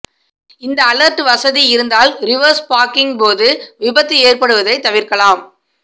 இந்த அலர்ட் வசதி இருந்தால் ரிவர்ஸ் பார்க்கிங்கின்போது விபத்து ஏற்படுவதை தவிர்க்கலாம்